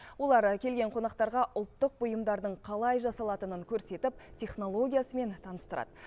олар келген қонақтарға ұлттық бұйымдардың қалай жасалатынын көрсетіп технологиясымен таныстырады